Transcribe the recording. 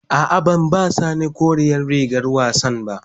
A'a, ban ba sani koren rigar wassan ba.